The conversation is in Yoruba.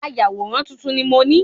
Ayàwòrán tuntun ni mó ni